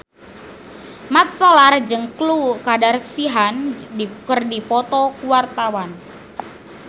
Mat Solar jeung Khloe Kardashian keur dipoto ku wartawan